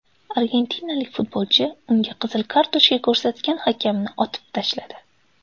Argentinalik futbolchi unga qizil kartochka ko‘rsatgan hakamni otib tashladi.